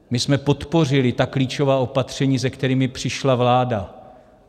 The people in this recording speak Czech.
My jsme podpořili ta klíčová opatření, se kterými přišla vláda.